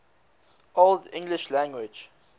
old english language